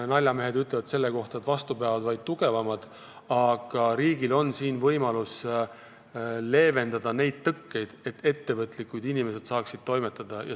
Naljamehed ütlevad selle kohta, et vastu peavad vaid tugevamad, aga riigil on siin võimalik leevendada tõkkeid, et ettevõtlikud inimesed saaksid toimetada.